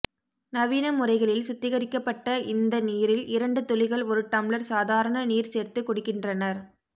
நவீன முறைகளில் சுத்திகரிக்கப்பட்ட இந்த நீரில் இரண்டு துளிகள் ஒரு டம்ளர் சாதாரண நீர் சேர்த்து குடிக்கின்றனர்